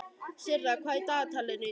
Sirra, hvað er í dagatalinu í dag?